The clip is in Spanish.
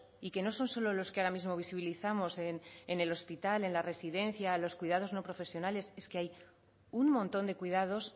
y que no son solo los que ahora mismo visibilizamos en el hospital en la residencia a los cuidados no profesionales es que hay un montón de cuidados